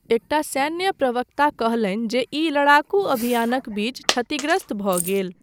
एकटा सैन्य प्रवक्ता कहलनि जे ई लड़ाकू अभियानक बीच क्षतिग्रस्त भऽ गेल।